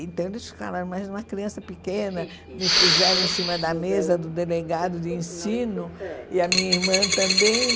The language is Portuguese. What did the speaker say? Então eles ficaram mais uma criança pequena, me puseram em cima da mesa do delegado de ensino e a minha irmã também.